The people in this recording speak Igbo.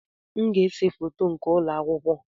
M ga-ese foto nke ụlọ akwụkwọ.